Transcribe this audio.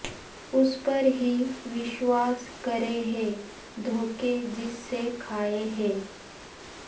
اس پر ہی وشواس کرے ہے دھوکہ جس سے کھائے ہے